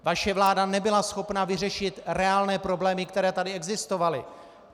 Vaše vláda nebyla schopna vyřešit reálné problémy, které tady existovaly.